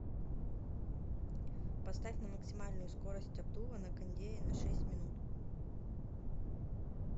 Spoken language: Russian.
поставь на максимальную скорость обдува на кондее на шесть минут